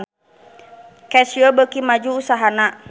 Casio beuki maju usahana